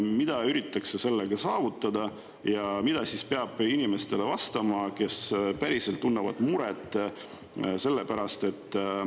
Mida üritatakse sellega saavutada ja mida peab vastama inimestele, kes päriselt muret tunnevad?